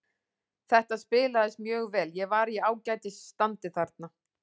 Þetta spilaðist mjög vel, ég var í ágætis standi þarna.